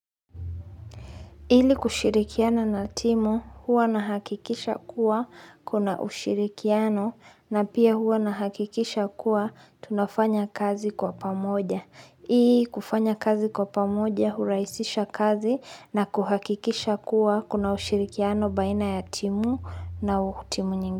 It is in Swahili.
Ili kushirikiana na timu huwa na hakikisha kuwa kuna ushirikiano na pia huwa na hakikisha kuwa tunafanya kazi kwa pamoja. Ii kufanya kazi kwa pamoja hurahisisha kazi na kuhakikisha kuwa kuna ushirikiano baina ya timu na timu nyingi.